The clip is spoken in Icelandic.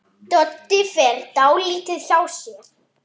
Með fleira í takinu